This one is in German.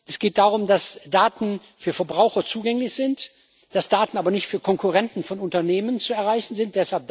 Es geht darum, dass Daten für Verbraucher zugänglich sind, dass Daten aber nicht für Konkurrenten von Unternehmen zu erreichen sind.